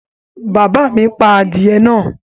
Bàbá mi pa adìẹ náà?